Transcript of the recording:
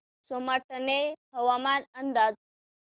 सोमाटणे हवामान अंदाज